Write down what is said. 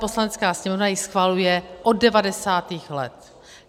Poslanecká sněmovna ji schvaluje od 90. let.